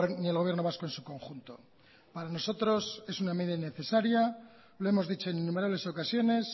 ni el gobierno vasco en su conjunto para nosotros es una medida innecesaria lo hemos dicho en innumerables ocasiones